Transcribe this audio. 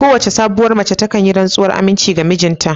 Kowane sabuwar mace takan yi rantsuwar aminci ga mijinta